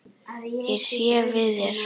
Ég sé við þér.